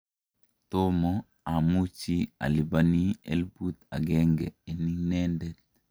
tomo amuchi alipani elfut agenge eng inende